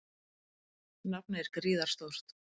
Nafnið er gríðarstórt.